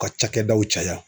U ka cakɛdaw caya